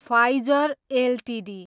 Pfizer Ltd